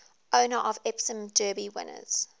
owner of epsom derby winners